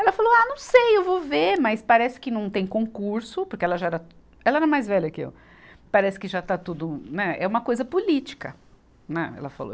Ela falou, ah, não sei, eu vou ver, mas parece que não tem concurso, porque ela já era, ela era mais velha que eu, parece que já está tudo, né, é uma coisa política, né, ela falou.